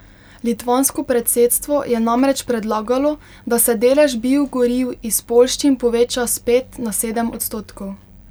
Litvansko predsedstvo je namreč predlagalo, da se delež biogoriv iz poljščin poveča s pet na sedem odstotkov.